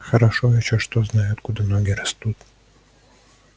хорошо ещё что знаю откуда ноги растут